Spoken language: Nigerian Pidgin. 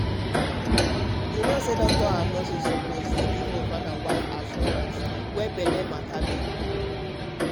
to try support to fit carry belle dey fit give both husband and wife assurance you know wetin i mean